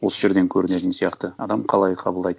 осы жерден көрінетін сияқты адам қалай қабылдайды